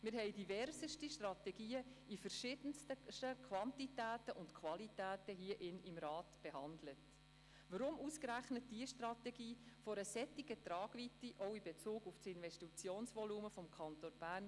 Ein Konzept, das nicht kohärent und gut abgesprochen ist, kann sehr teuer zu stehen kommen.